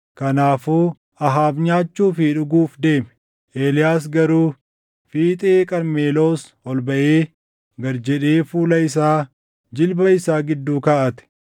Kanaafuu Ahaab nyaachuu fi dhuguuf deeme; Eeliyaas garuu fiixee Qarmeloos ol baʼee gad jedhee fuula isaa jilba isaa gidduu kaaʼate.